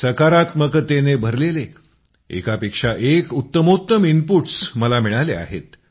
सकारात्मकतेने भरलेले एकापेक्षा एक उत्तमोत्तम इनपुट्स मला मिळाले आहेत